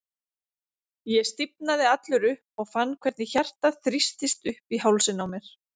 Ég stífnaði allur upp og fann hvernig hjartað þrýstist upp í hálsinn á mér.